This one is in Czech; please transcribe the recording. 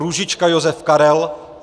Růžička Josef Karel